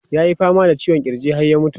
Ya yi fama da ciwon kirji har ya mutu.